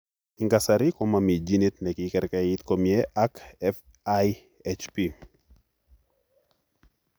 Eng' kasarii komomii genit nekikekerkeit komyee ak FIHP